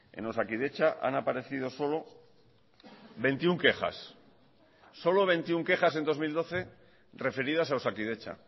en osakidetza han aparecido solo veintiuno quejas en dos mil doce referidas a osakidetza